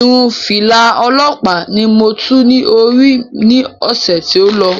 Irun fìlà òlọ́ọ̀pá ni mo tú ní orí ní ọ̀sè tí o lọ